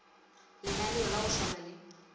lenaneo la go swana le